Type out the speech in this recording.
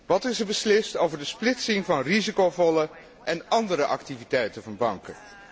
Wat is er beslist over de splitsing van risicovolle en andere activiteiten van banken?